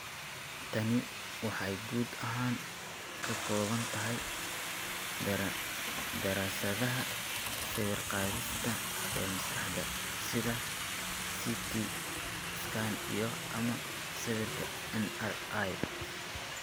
Tani waxay guud ahaan ka kooban tahay daraasadaha sawir-qaadista ee maskaxda (sida CT scan iyo/ama sawirka MRI).